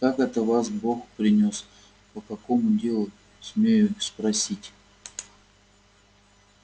как это вас бог принёс по какому делу смею спросить